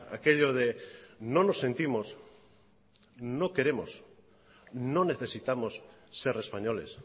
aquello de no nos sentimos no queremos no necesitamos ser españoles